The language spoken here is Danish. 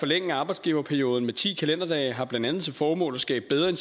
forlænge arbejdsgiverperioden med ti kalenderdage har blandt andet til formål at skabe bedre